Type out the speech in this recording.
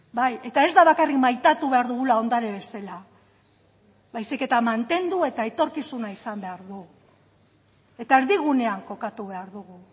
bai eta ez da bakarrik maitatu behar dugula ondare bezala baizik eta mantendu eta etorkizuna izan behar du eta erdigunean kokatu behar dugu